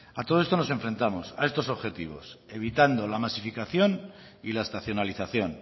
a todo esto nos enfrentamos a estos objetivos evitando la masificación y la estacionalización